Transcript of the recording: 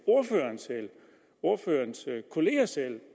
ordførerens kolleger selv